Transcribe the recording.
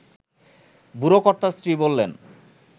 বুড়োকর্তার স্ত্রী বললেন